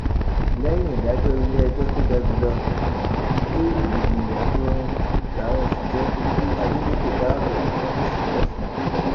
lẹyìn ìdájọ iléẹjọ tó ga jù lọ ìjọ ìlú àtòrin làwọn òṣìṣẹ fi kí adeleke káàbọ ṣọfíìsì lọsùn